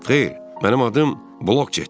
Xeyr, mənim adım Blojetdir.